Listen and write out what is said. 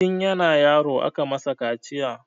Tin yana yaro aka masa kaciya